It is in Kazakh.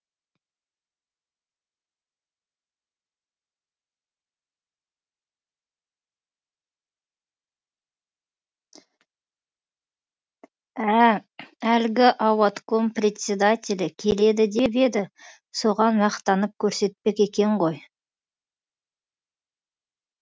ә әлгі ауатком председателі келеді деп еді соған мақтанып көрсетпек екен ғой